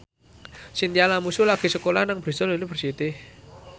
Chintya Lamusu lagi sekolah nang Bristol university